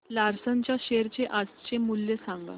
Larsen च्या share चे आजचे मूल्य सांगा